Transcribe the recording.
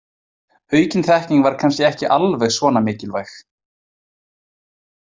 Aukin þekking var kannski ekki alveg svona mikilvæg.